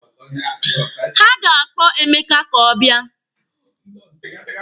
Ha ga-akpọ Emeka ka ọ bịa.